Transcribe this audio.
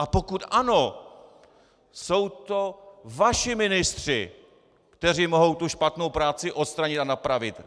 A pokud ano, jsou to vaši ministři, kteří mohou tu špatnou práci odstranit a napravit.